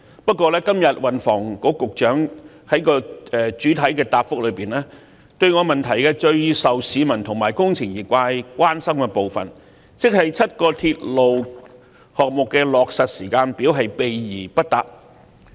不過，運房局局長今天在其主體答覆中，對我質詢內最受市民及工程業界關心的部分，亦即該7個鐵路項目的落實時間表卻避而不答。